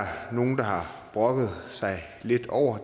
nogle der har brokket sig lidt over